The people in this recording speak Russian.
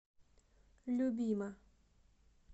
любима